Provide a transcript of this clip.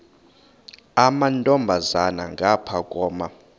amantombazana ngapha koma